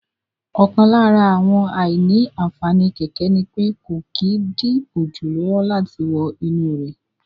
Ọ̀kan lára àwọn àìní-ànfàní kẹ̀kẹ́ ni pé kò kí n dí òjò lọ́wọ́ láti wọ inú rẹ̀